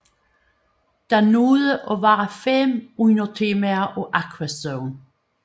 Der nåede at være fem undertemaer af Aquazone